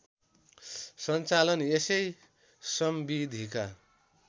सञ्चालन यसै संविधिका